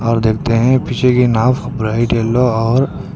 और देखते हैं पीछे की नाव ब्राइट येलो और--